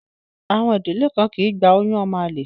Àwọn ìdílé kan kì í gba oyún ọmọ àlè